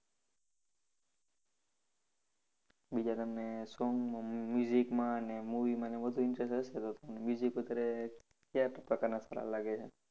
બીજા તમને song માં અમ માં અને movie માંને વધુ interest હશે તો તમને. Music અત્યારે ક્યા પ્રકારના સારા લાગે છે?